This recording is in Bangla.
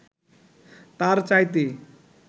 তার চাইতে